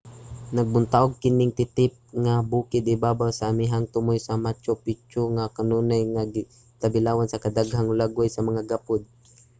nagbuntaog kining titip nga bukid ibabaw sa amihanang tumoy sa machu picchu nga kanunay nga tabilawan sa kadaghanang hulagway sa mga gapod